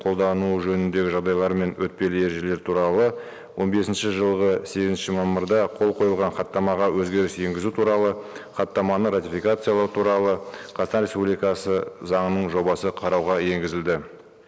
қолдануы жөніндегі жағдайлар мен өтпелі ережелер туралы он бесінші жылғы сегізінші мамырда қол қойылған хаттамаға өзгеріс енгізу туралы хаттаманы ратификациялау туралы қазақстан республикасы заңының жобасы қарауға енгізілді